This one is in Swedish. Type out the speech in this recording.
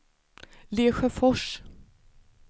Lesjöfors